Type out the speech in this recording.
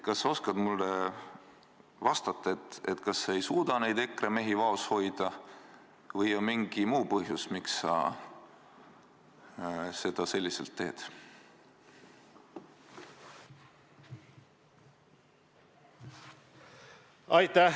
Kas sa oskad mulle vastata: kas sa ei suuda neid EKRE mehi vaos hoida või on mingi muu põhjus, miks sa niimoodi teed?